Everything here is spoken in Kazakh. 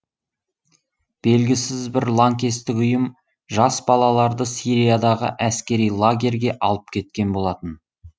белгісіз бір лаңкестік ұйым жас балаларды сириядағы әскери лагерьге алып кеткен болатын